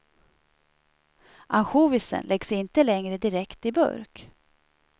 Ansjovisen läggs inte längre direkt i burk.